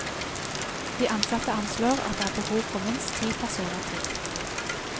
De ansatte anslår at det er behov for minst ti personer til.